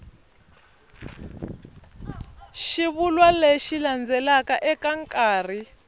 xivulwa lexi landzelaka eka nkarhi